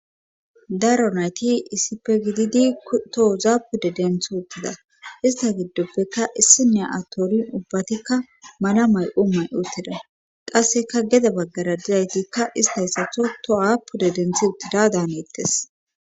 Daro nayti issippe gididi tohuza pude dentho uttida ista giddoppeka issine atoonin ubbatikka malamay u may uttida qasseka gede baggara didaytikka ista yssatho to aapude denthi uttida dan eittes